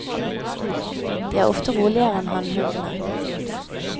De er ofte roligere enn hannhundene.